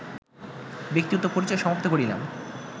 ব্যক্তিগত পরিচয় সমাপ্ত করিলাম